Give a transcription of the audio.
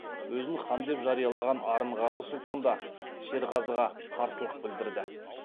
өзін хан деп жариялаған арынғазы сұлтан да шерғазыға қарсылық білдірді